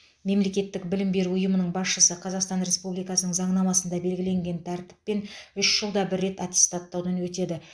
мемлекеттік білім беру ұйымының басшысы қазақстан республикасының заңнамасында белгіленген тәртіппен үш жылда бір рет аттестаттаудан өтеді